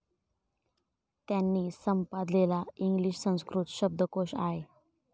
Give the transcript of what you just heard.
त्यांनी संपादलेला इंग्लिश संस्कृत शब्दकोश आय.